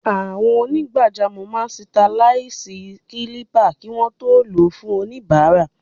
Àwọn onígbàjamọ̀ máa sitẹriláìsì kílípà kí wọ́n tó lò ó fún oníbàárà.